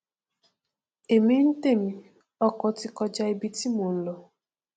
èmi ntèmi ọkọ ti kọja ibi tí mò nlọ